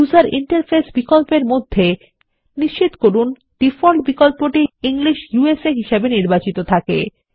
user interface বিকল্পের মধ্যে নিশ্চিত করুন ডিফল্ট বিকল্পটি ইংলিশ ইউএসএ হিসাবে নির্বাচিত থাকে